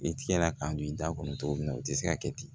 I tigɛ la k'a don i da kɔnɔ cogo min na o tɛ se ka kɛ ten